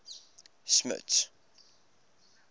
smuts